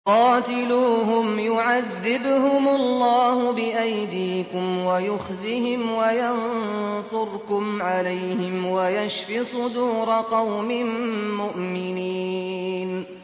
قَاتِلُوهُمْ يُعَذِّبْهُمُ اللَّهُ بِأَيْدِيكُمْ وَيُخْزِهِمْ وَيَنصُرْكُمْ عَلَيْهِمْ وَيَشْفِ صُدُورَ قَوْمٍ مُّؤْمِنِينَ